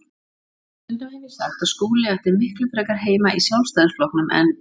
Stundum hef ég sagt að Skúli ætti miklu frekar heima í Sjálfstæðisflokknum en